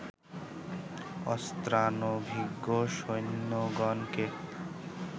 অস্ত্রানভিজ্ঞ সৈন্যগণকে